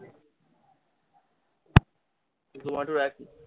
zomato এর একই।